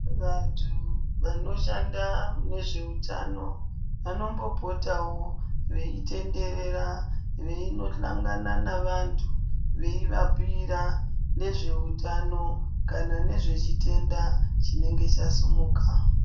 Vantu vanoshanda munezveutano vanombopotawo veitenderera veinohlangana navantu veivabhira nezve utano kana nezve chitenda chinenga chasimuka